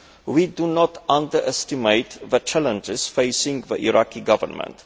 We do not underestimate the challenges facing the Iraqi Government.